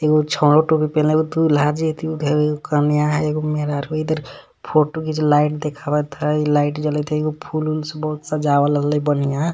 एगो छोड़ो टोपी पेन्हलो दुल्हा जी इधर गो कनिया ह एगो मेहरारू इधर फोटो के लाइट देखावत हई लाइट जलत हय एगो फुल उल से बहुत सजावल हई बढियाँ।